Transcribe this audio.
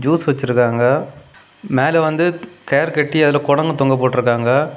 Rose வச்சுருக்காங்க மேல வந்து கேரு கட்டி அதுல கொடங் தொங்க போட்ருக்காங்க.